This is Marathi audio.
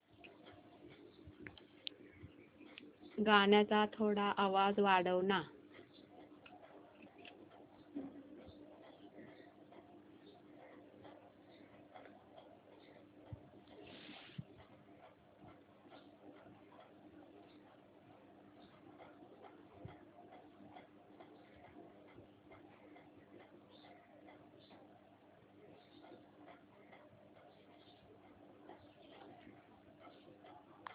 गाण्याचा थोडा आवाज वाढव ना